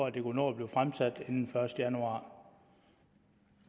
at det kunne nå at blive fremsat inden den første januar